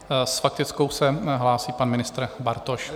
S faktickou se hlásí pan ministr Bartoš.